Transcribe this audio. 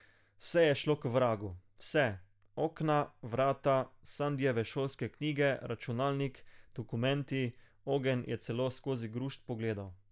Vse je šlo k vragu, vse, okna, vrata, Sandijeve šolske knjige, računalnik, dokumenti, ogenj je celo skozi grušt pogledal.